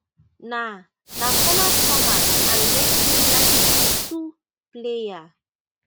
na na former stormers and racing ninety-two player